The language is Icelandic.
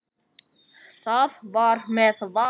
Það var með Val.